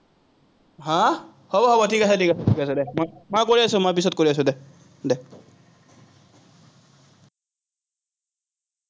আহ হব হব ঠিক আছে ঠিক আছে, দে। মই কৰি আছো, মই পিচত কৰি আছো দে।